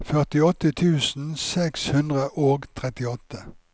førtiåtte tusen seks hundre og trettiåtte